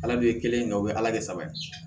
Ala de ye kelen kɛ o bɛ ala kɛ saba ye